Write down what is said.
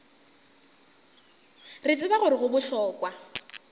re tseba gore go bohlokwa